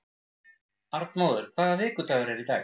Arnmóður, hvaða vikudagur er í dag?